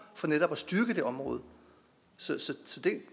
for netop at styrke det område så